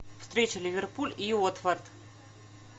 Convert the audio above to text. встреча ливерпуль и уотфорд